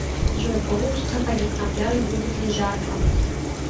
джой получится ходить на пляж будет ли жарко